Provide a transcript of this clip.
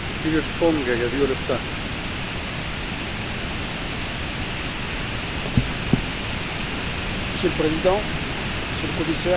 Monsieur le Président, Monsieur le Commissaire, chers collègues, l'Union européenne entretient depuis de nombreuses années une relation particulière et forte avec les pays ACP.